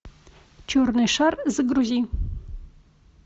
черный шар загрузи